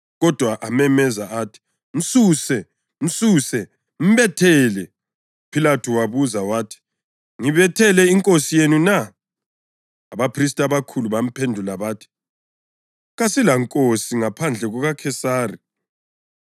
Kodwa amemeza athi, “Msuse! Msuse! Mbethele!” UPhilathu wabuza wathi, “Ngibethele inkosi yenu na?” Abaphristi abakhulu bamphendula bathi, “Kasilankosi ngaphandle kukaKhesari.”